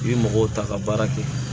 I bɛ mɔgɔw ta ka baara kɛ